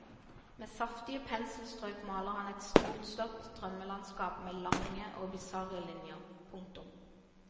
Med saftige penselstrøk maler han et storslått drømmelandskap med lange og bisarre linjer. punktum